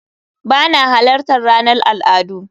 Ba na halartar ranar al'adu